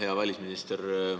Hea välisminister!